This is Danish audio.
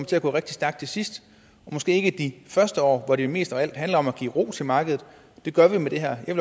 til at gå rigtig stærkt til sidst måske ikke i de første år hvor det mest af alt handler om at give ro til markedet og det gør vi med det her jeg